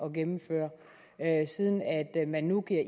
at gennemføre siden man nu giver